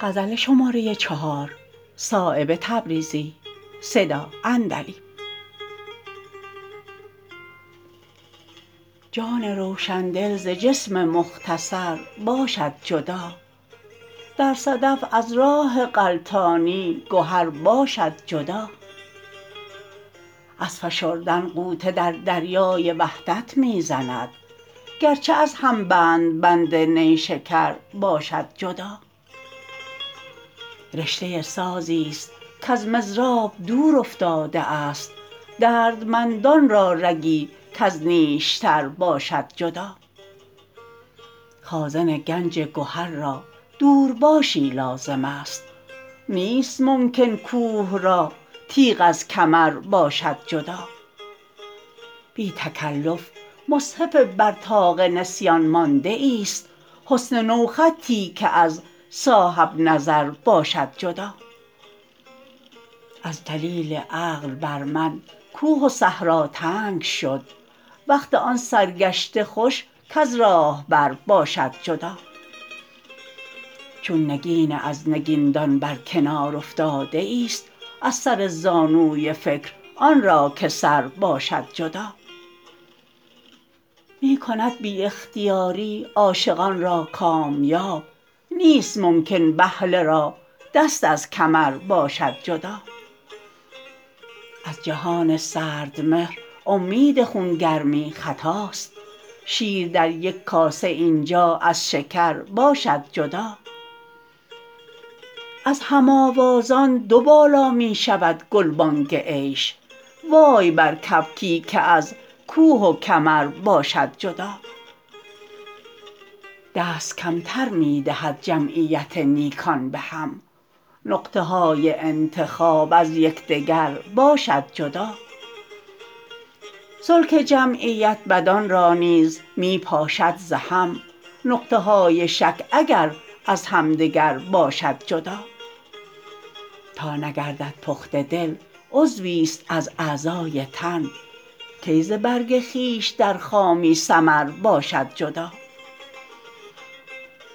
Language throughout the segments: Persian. جان روشندل ز جسم مختصر باشد جدا در صدف از راه غلطانی گهر باشد جدا از فشردن غوطه در دریای وحدت می زند گرچه از هم بند بند نیشکر باشد جدا رشته سازی است کز مضراب دور افتاده است دردمندان را رگی کز نیشتر باشد جدا خازن گنج گهر را دورباشی لازم است نیست ممکن کوه را تیغ از کمر باشد جدا بی تکلف مصحف بر طاق نسیان مانده ایست حسن نوخطی که از صاحب نظر باشد جدا از دلیل عقل بر من کوه و صحرا تنگ شد وقت آن سرگشته خوش کز راهبر باشد جدا چون نگین از نگیندان بر کنار افتاده ایست از سر زانوی فکر آن را که سر باشد جدا می کند بی اختیاری عاشقان را کامیاب نیست ممکن بهله را دست از کمر باشد جدا از جهان سردمهر امید خونگرمی خطاست شیر در یک کاسه اینجا از شکر باشد جدا از هم آوازان دو بالا می شود گلبانگ عیش وای بر کبکی که از کوه و کمر باشد جدا دست کمتر می دهد جمعیت نیکان به هم نقطه های انتخاب از یکدگر باشد جدا سلک جمعیت بدان را نیز می پاشد ز هم نقطه های شک اگر از همدگر باشد جدا تا نگردد پخته دل عضوی ست از اعضای تن کی ز برگ خویش در خامی ثمر باشد جدا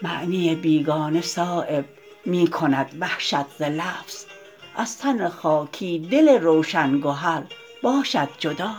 معنی بیگانه صایب می کند وحشت ز لفظ از تن خاکی دل روشن گهر باشد جدا